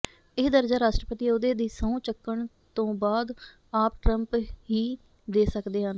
ਇਹ ਦਰਜਾ ਰਾਸ਼ਟਰਪਤੀ ਅਹੁਦੇ ਦੀ ਸਹੁੰ ਚੁੱਕਣ ਤੋਂ ਬਾਅਦ ਆਪ ਟਰੰਪ ਹੀ ਦੇ ਸਕਦੇ ਹਨ